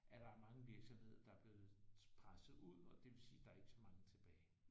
At der er mange virksomheder der er blevet presset ud og det vil sige der ikke er så mange tilbage